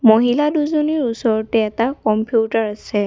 মহিলা দুজনীৰ ওচৰতে এটা কম্পিউটাৰ আছে।